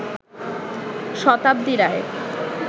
শতাব্দী রায়